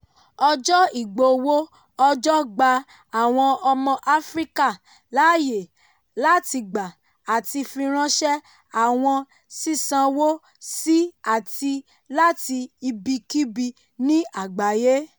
ọjọ́ ìgbowó-ọjọ́ gba àwọn ọmọ áfríkà láàyè láti gbà àti firańṣẹ́ àwọn sísánwó sí àti láti ibikíbi ní àgbáyé.